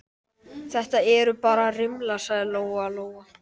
Þetta eru bara rimlar, sagði Lóa Lóa.